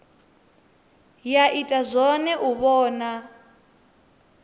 ya ita zwone u vhona